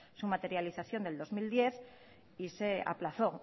su materialización del dos mil diez y se aplazó